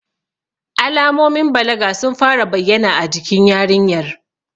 Alamomin balaga sun fara bayyana a jikin yarinyar.